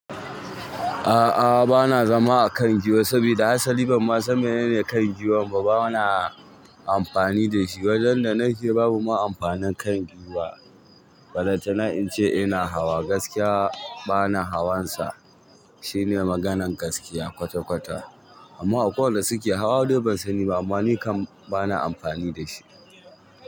A'a, bana zama a kan gwiwa saboda hasali ban ma san menene kan gwiwan ba. Bana amfani da shi. Wajen da nake babu ma amfanin kan giwa. Balantana ince ina hawa gaskiya bana hawan sa. Shine maganan gaskiya kwata-kwata. Amma akwai wanda suke hawa dai ban sani ba. Amma ni kam bana amfani da shi.